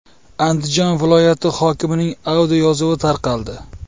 Andijon viloyati hokimining audioyozuvi tarqaldi.